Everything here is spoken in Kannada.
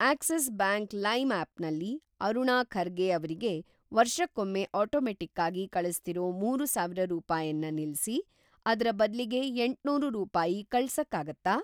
ಆಕ್ಸಿಸ್‌ ಬ್ಯಾಂಕ್‌ ಲೈಮ್ ಆಪ್‌ನಲ್ಲಿ ಅರುಣಾ ಖರ್ಗೆ ಅವ್ರಿಗೆ ವರ್ಷಕ್ಕೊಮ್ಮೆ ಆಟೋಮೆಟ್ಟಿಕ್ಕಾಗಿ ಕಳಿಸ್ತಿರೋ ಮೂರು ಸಾವಿರ ರೂಪಾಯನ್ನ ನಿಲ್ಸಿ, ಅದ್ರ ಬದ್ಲಿಗೆ ಎಂಟ್ನೂರು ರೂಪಾಯಿ ಕಳ್ಸಕ್ಕಾಗತ್ತಾ?